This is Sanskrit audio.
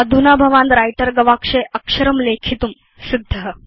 अधुना भवान् व्रिटर गवाक्षे अक्षरं लेखितुं सिद्ध